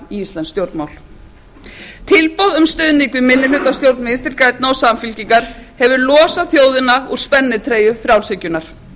íslensk stjórnmál tilboð um stuðning við minnihlutastjórn vinstri grænna og samfylkingar hefur losað þjóðina úr spennitreyju frjálshyggjunnar